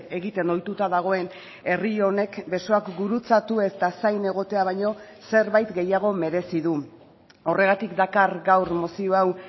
egiten ohituta dagoen herri honek besoak gurutzatu eta zain egotea baino zerbait gehiago merezi du horregatik dakar gaur mozio hau